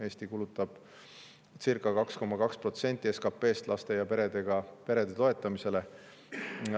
Eesti kulutab circa 2,2% SKP-st laste ja perede toetamisele.